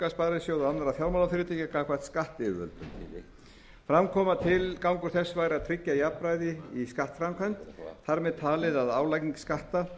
sparisjóða og annarra fjármálafyrirtækja gagnvart skattyfirvöldum fram kom að tilgangur þess væri að tryggja jafnræði í skattframkvæmd þar með talin við álagningu skatta